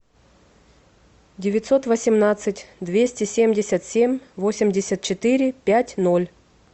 девятьсот восемнадцать двести семьдесят семь восемьдесят четыре пять ноль